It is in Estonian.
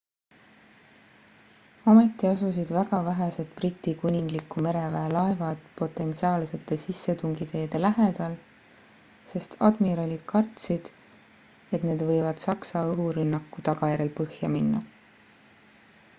ometi asusid väga vähesed briti kuningliku mereväe laevad potentsiaalsete sissetungiteede lähedal sest admiralid kartsid et need võivad saksa õhurünnaku tagajärjel põhjal minna